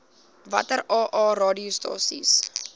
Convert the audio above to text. watter aa radiostasies